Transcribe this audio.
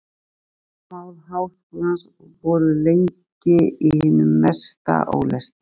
Bókamál Háskólans voru lengi í hinum mesta ólestri.